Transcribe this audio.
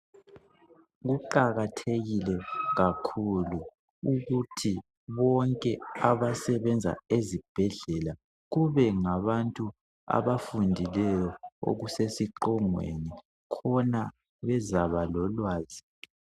Kuqakathekile kakhulu ukuthi bonke abasebenza ezibhedlela kube ngabantu abafundileyo okusesiqongweni khona bezaba lolwazi.